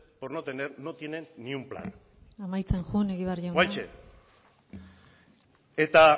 por no tener no tiene ni un plan amaitzen joan egibar jauna oraintxe eta